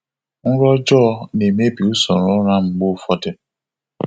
Nrọ ọjọọ na-emebi usoro ụra m mgbe ụfọdụ.